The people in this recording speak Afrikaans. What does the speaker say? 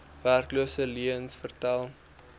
werkloses leuens vertel